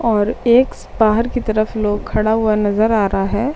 और ऐक्स बाहर की तरफ लोग खड़ा हुआ नज़र आ रहा है।